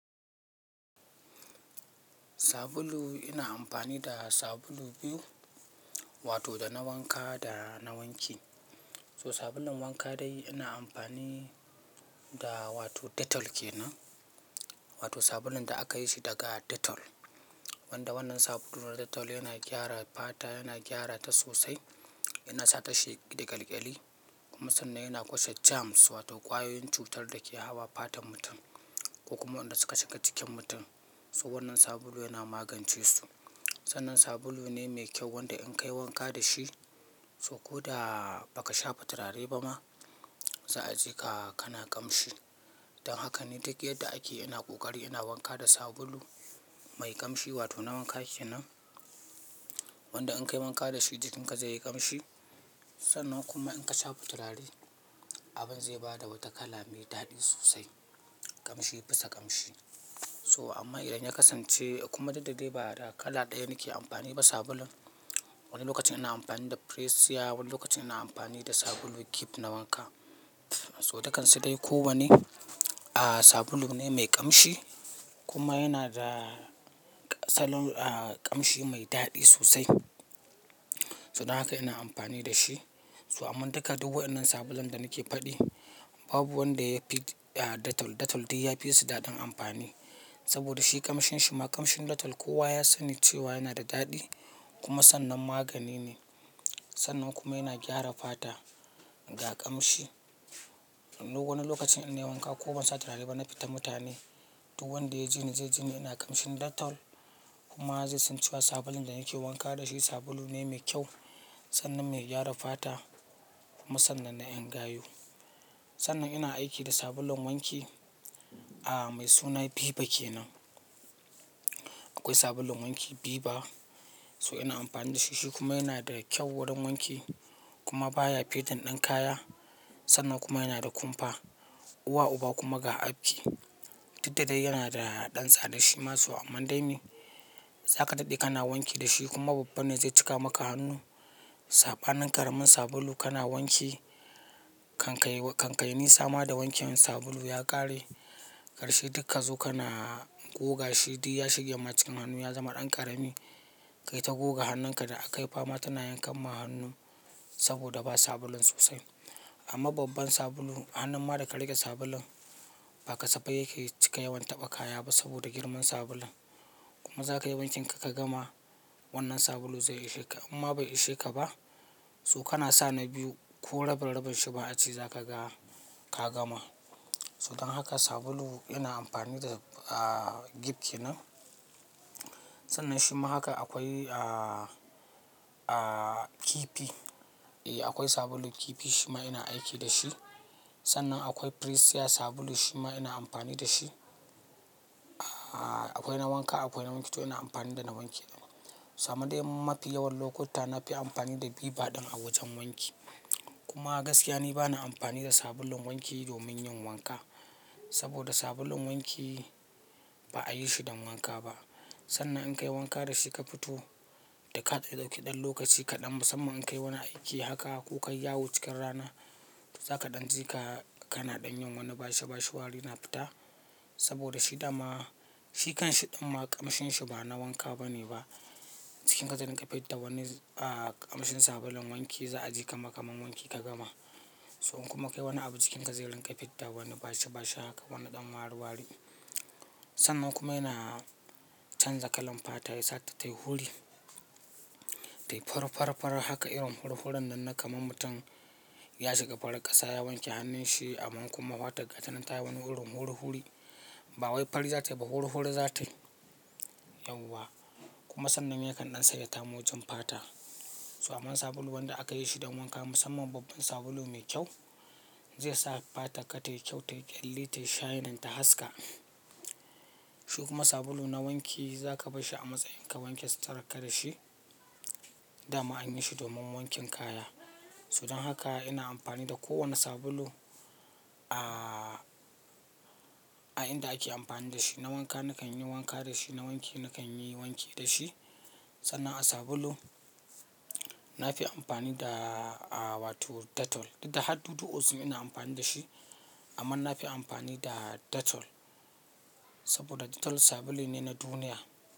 Sabulu ina amfani da sabulu biyu, wato da na wanka da na wanki. So sabulun wanka dai ina amfani da wato Dettol ke nan, wato sabulun da aka yi shi daga Dettol. Wanda wannan sabulun Dettol yana gyara fata, yana gyara ta sosai, yana sa ta sheki da ƙyalƙyali kuma sannan yana kashe germs wato ƙwayoyin cutar da ke hawa fatan mutum ko kuma wanda suka shiga cikin mutum. So wannan sabulu yana magance su. Sannan sabulu ne mai kyau wanda in ka yi wanka da shi, so ko da ba ka shafa turare ba ma, za a ji ka, kana ƙamshi. Don haka ne duk yadda ake, ina ƙoƙari ina wanka da sabulu mai ƙamshi wato na wanka ke nan. Wanda in ka yi wanka da shi, jikinka zai yi ƙamshi. Sannan kuma in ka shafa turare, abin zai ba da wata kala mai daɗi sosai, ƙamshi bisa ƙamshi. So amma idan ya kasance kuma daddare ba da kala ɗaya nake amfani ba sabulun, wani lokacin ina amfani da Presya, wani lokacin ina amfani da sabulun Gift na wanka. So dukansu dai ko wane, ah sabulu ne mai ƙamshi kuma yana da salon ƙamshi mai daɗi sosai. So don haka ina amfani da shi. So amma duka duk waɗannan sabulun da nake faɗi, babu wanda ya fi Dettol. Dettol dai ya fi su daɗin amfani saboda shi ƙamshin shi ma ƙamshin Dettol kowa ya sani cewa yana da daɗi kuma sannan magani ne. Sannan kuma yana gyara fata ga ƙamshi. Wani lokacin ina wanka ko ban sa turare ba, na fita mutane duk wanda ya ji ni zai ji ni ina ƙamshin Dettol kuma zai san cewa sabulun da nake wanka da shi sabulu ne mai kyau sannan mai gyara fata kuma sannan na yan gayu. Sannan ina aiki da sabulun wanki mai suna Viva ke nan. Akwai sabulun wanki Viva so ina amfani da shi. Shi kuma yana da kyau wurin wanki kuma baya fading ɗin kaya. Sannan kuma yana da kumfa. Uwa uba kuma ga afki. Did da dai yana da ɗan tsada shi ma amma dai ne. Zaka daɗe kana wanki da shi kuma babban ne zai cika maka hannu. Saɓanin ƙaramin sabulu kana wanki kankai, kankai nisa ma da wankin wankin sabulu ya ƙare. Karshe dukka zo kana goga shi duk ya shige ma cikin hannu ya zama ɗan ƙarami. Kai ta goga hannunka da aka yi fama tana yankan ma hannun saboda ba sabulun sosai. Amma babban sabulu, hannun ma da ka riƙe sabulun, ba ka saba yake cika yawan taɓa kaya ba saboda girman sabulun. Kuma zaka yi wankin ka ka gama wannan sabulu zai ishe ka imma bai ishe ka ba. So kana sa na biyu ko rabin rabin shi ba a ci za ka ga ka gama. So don haka sabulu ina amfani da a Gift ke nan. Sannan shima haka akwai Kifi. Eh akwai sabulu Kifi shima ina aiki da shi. Sannan akwai Presya sabulu shima ina amfani da shi. Akwai na wanka, akwai na wanki to ina amfani da na wanki. To amman dai mafi yawan lokuta na fi amfani da Viva ɗin a wajen wanki. Kuma gaskiya ne bana amfani da sabulun wanki domin yin wanka saboda sabulun wanki ba a yi shi don wanka ba. Sannan in ka yi wanka da shi ka fito da ka dauki ɗan lokaci kaɗan musamman in ka yi wani aiki haka ko ka yi yawo cikin rana, za ka ɗan ji ka, kana ɗan yin wani bashi bashi wari na fita saboda shi dama, shi kanshi ɗan ma ƙamshin shi ba na wanka bane ba. Jikinka zai riƙa fidda wani a ƙamshin sabulun wanki za a ji kaman kaman wanki ka gama. So in kuma ka yi wani abu jikinka zai riƙa fidda wani bashi bashi haka wani ɗan wari wari. Sannan kuma yana canza kalan fata ya sa ta tayi huri. Tayi farar farar haka irin hur hurin nan da kamar mutum ya shiga farar ƙasa ya wanke hannun shi amma kuma hwatar ƙaninta yayi wani hurin huri huri. Ba wai fari za ta yi ba huri huri za ta yi. Yauwa. Kuma sannan yake ɗan sanya tamojin fata. So aman sabulu wanda aka yi shi don wanka musamman babban sabulu mai kyau, zai sa fatar ka tayi kyau, tayi ƙyalli, tayi shinning ta haska. Shi kuma sabulu na wanki zaka barshi a matsayin ka wanke sitirarka da shi. Dama an yi shi domin wankin kaya. So don haka ina amfani da kowane sabulu a inda ake amfani da shi. Na wanka nakan yi wanka da shi, na wanki nakan yi wanki da shi. Sannan a sabulu na fi amfani da wato Dettol. Duk da har dudu osun ina amfani da shi amma na fi amfani da Dettol saboda Dettol sabulu ne na duniya.